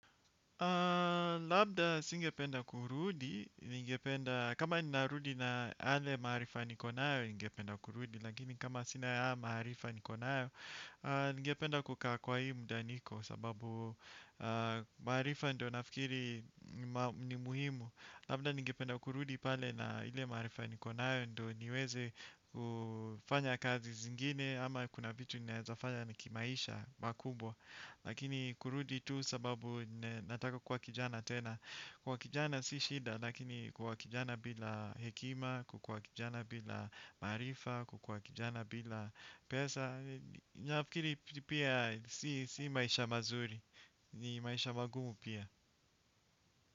Labda singependa kurudi, ningependa kama ni narudi na yale maarifa nikonayo, ningependa kurudi. Lakini kama sina haya maarifa nikonayo, ningependa kukaa kwa hii muda niko. Sababu maarifa ndio nafikiri ni muhimu. Labda ningependa kurudi pale na ile marifa nikonayo, ndio niweze kufanya kazi zingine. Ama kuna vitu ninawezafanya nikimaisha makubwa. Lakini kurudi tu sababu nataka kuwa kijana tena. Kuwa kijana si shida lakini kuwa kijana bila hekima, kukuwa kijana bila maarifa, kukuwa kijana bila pesa. Nafikiri pia si maisha mazuri, ni maisha magumu pia.